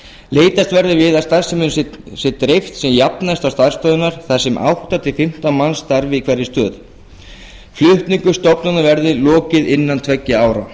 leitast verði við að starfseminni sé dreift sem jafnast á starfsstöðvarnar þar sem átta til fimmtán manns starfi í hverri stöð flutningi stofnunarinnar verði lokið innan tveggja ára